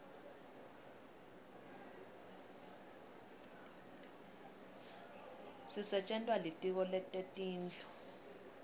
sisetjentwa litiko letetindlu